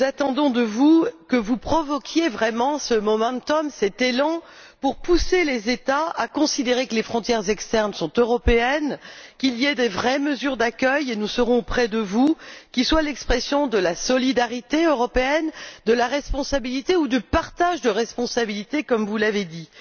Nous attendons de vous que vous provoquiez vraiment ce momentum cet élan pour pousser les États à considérer que les frontières externes sont européennes, qu'il y ait de vraies mesures d'accueil et nous serons près de vous qui soient l'expression de la solidarité européenne, de la responsabilité ou du partage de responsabilité, comme vous l'avez dit.